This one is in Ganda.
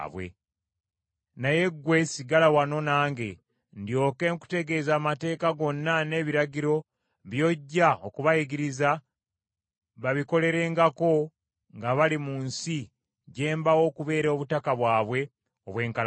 Naye ggwe sigala wano nange, ndyoke nkutegeeze amateeka gonna n’ebiragiro, by’ojja okubayigiriza babikolerengako nga bali mu nsi gye mbawa okubeera obutaka bwabwe obw’enkalakkalira.